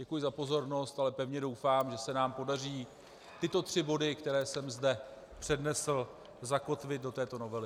Děkuji za pozornost, ale pevně doufám, že se nám podaří tyto tři body, které jsem zde přednesl, zakotvit do této novely.